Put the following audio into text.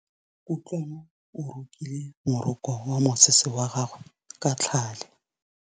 Kutlwanô o rokile morokô wa mosese wa gagwe ka tlhale.